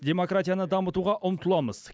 демократияны дамытуға ұмтыламыз